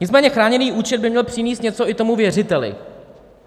Nicméně chráněný účet by měl přinést něco i tomu věřiteli.